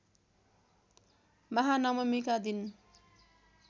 महानवमीका दिन